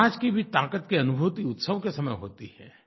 समाज की भी ताक़त की अनुभूति उत्सव के समय होती है